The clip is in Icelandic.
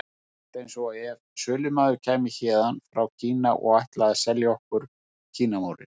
Rétt eins og ef sölumaður kæmi héðan frá Kína og ætlaði að selja okkur Kínamúrinn.